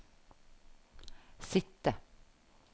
sitte